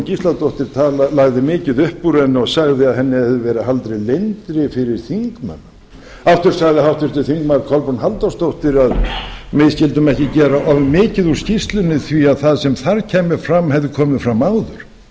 ingibjörg sólrún gísladóttir lagði mikið upp úr henni og sagði að henni hefði verið haldið leyndri fyrir þingmenn aftur sagði háttvirtir þingmenn kolbrún halldórsdóttir að við skyldum ekki gera of mikið úr skýrslunni því sem þar kæmi fram hefði komið fram áður verst er